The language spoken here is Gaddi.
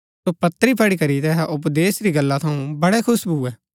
सो पत्री पढ़ी करी तैहा उपदेश री गल्ला थऊँ बड़ै खुश भुऐ